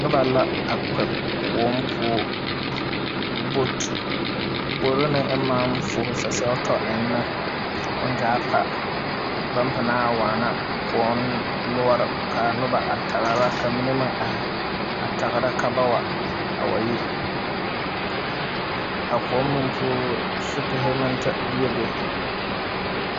Noba la kpɛ kõɔ puo boat gbori ne ema maŋ fuuhi sasɛhu eŋ ne o gyaa maŋ pa baŋ panaa waana kõɔ noɔre ka a noba tagera ka mine meŋ ahi a tagera ka ba wa a yi a kõɔ meŋ poɔ sipihi maŋ te biebe.